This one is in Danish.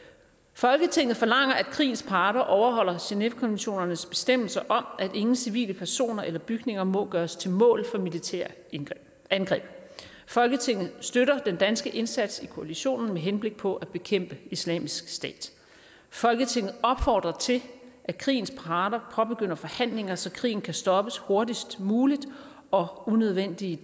folketinget forlanger at krigens parter overholder genèvekonventionernes bestemmelser om at ingen civile personer eller bygninger må gøres til mål for militære angreb folketinget støtter den danske indsats i koalitionen med henblik på at bekæmpe islamisk stat folketinget opfordrer til at krigens parter påbegynder forhandlinger så krigen kan stoppes hurtigst muligt og unødvendige